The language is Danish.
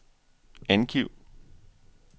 angiv